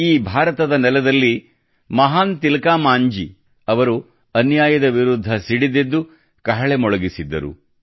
ಈ ಭಾರತದ ನೆಲದಲ್ಲಿ ಮಹಾನ್ ತಿಲಕಾ ಮಾಂಜಿ ಅವರು ಅನ್ಯಾಯದ ವಿರುದ್ಧ ಸಿಡಿದೆದ್ದು ಕಹಳೆ ಮೊಳಗಿಸಿದ್ದರು